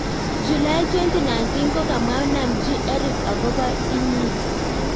julai 2019 kogamwa namjin Erick akopa inyin